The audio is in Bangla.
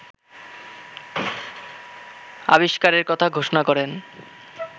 আবিষ্কারের কথা ঘোষণা করেন